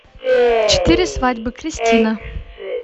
четыре свадьбы кристина